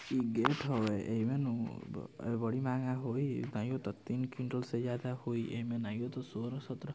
इ गेट हवे ऐवे नो ब ए बड़ी महँगा होइ| तीन क्वींटल से ज्यादा होइ एमें नाइयोता सोरह - सतरह --